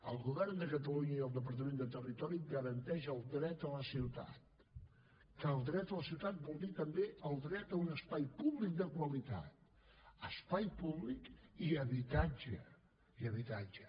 el govern de catalunya i el departament de territori garanteixen el dret a la ciutat que el dret a la ciutat vol dir també el dret a un espai públic de qualitat espai públic i habitatge i habitatge